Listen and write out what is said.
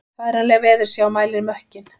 Færanleg veðursjá mælir mökkinn